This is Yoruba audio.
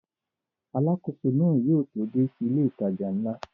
Alákóso náà yóò tó dé sí ilé ìtajà ńlá